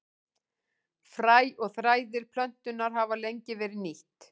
Fræ og þræðir plöntunnar hafa lengi verið nýtt.